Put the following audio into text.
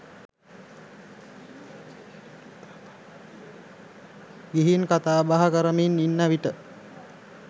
ගිහින් කතාබහ කරමින් ඉන්න විට